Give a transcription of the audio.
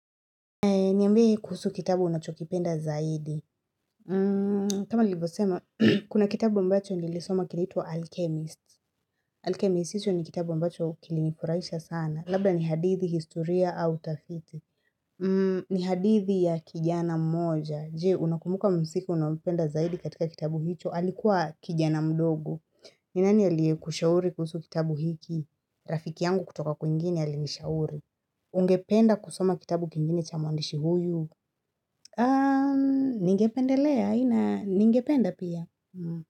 Niambie kuhusu kitabu unachokipenda zaidi. Kama Nilivyosema, kuna kitabu ambacho nilisoma kinaitwa Alchemist. Alchemist hicho ni kitabu ambacho kilinifurahisha sana. Labda ni hadithi, historia, au utafiti ni hadithi ya kijana mmoja. Je, unakumuka mhusika unaompenda zaidi katika kitabu hicho. Alikuwa kijana mdogo. Ni nani aliyekushauri kuhusu kitabu hiki? Rafiki yangu kutoka kuwingine ali nishauri. Ungependa kusoma kitabu kingine cha mwandishi huyu. Ningependelea, ina ningependa pia.